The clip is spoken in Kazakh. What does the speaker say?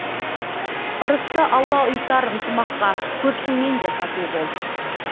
ырысты алла ұйытар ынтымаққа көршіңмен де тату бол